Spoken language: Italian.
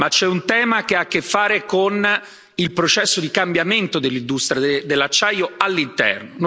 Ma c'è un tema che ha a che fare con il processo di cambiamento dell'industria dell'acciaio all'interno.